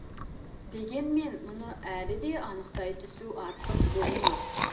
дегенмен мұны әлі де анықтай түсу артық болмас